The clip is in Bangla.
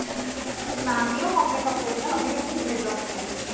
না আমিও কম মেকাপ করি না আমিও খুব make up করি।